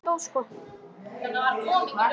Hvað þurfið þið helst að varast í leik Möltu?